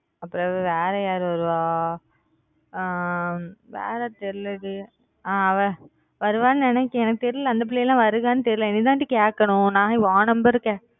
ஆமாஅப்புறம் வேற யாரு வருவா ஆஹ் வேற தெரியல டி ஆஹ் அவ வருவான்னு நினைக்குறான் தெரியல அந்த பிள்ளைங்கெல்லாம் வருதான்னு தெரியல நீ தான் டி கேக்கணும் உன் number